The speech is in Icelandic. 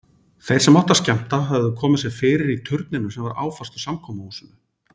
Þeir sem áttu að skemmta höfðu komið sér fyrir í turninum sem var áfastur samkomuhúsinu.